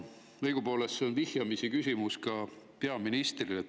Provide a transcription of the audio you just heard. Õigupoolest on see vihjamisi küsimus ka peaministrile.